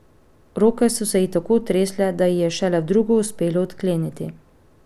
Roke so se ji tako tresle, da ji je šele v drugo uspelo odkleniti.